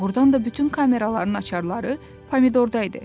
Doğrudan da bütün kameraların açarları Pomidorda idi.